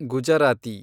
Gujarati